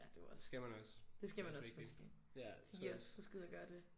Det skal man også det er også vigtigt ja det tror jeg